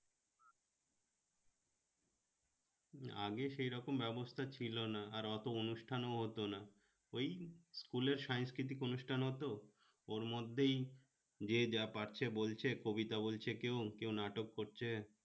আগে সে রকম ব্যবস্থা ছিল না আর অত অনুষ্ঠান ও হতো না ওই school এর সাংস্কৃতিক অনুষ্ঠান হত ওর মধ্যেই যে যা পারছে বলছে কবিতা বলছে কেউ কেউ নাটক করছে